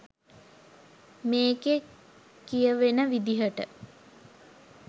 මේකෙ කියවෙන විදියට